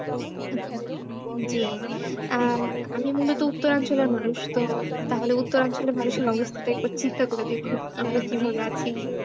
হম জি আহ আমি মূলত উত্তরাঞ্চলের মানুষ তো তাহলে উত্তরাঞ্চলের মানুষদের অবস্থাটা একবার চিন্তা করে দেখুন আমরা কিভাবে আছি।